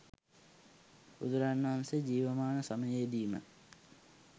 බුදුරජාණන් වහන්සේ ජීවමාන සමයේදී ම